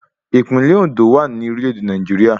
Ìpínlẹ̀ Òndó wà ní orílẹ̀ èdè Nàìjíríà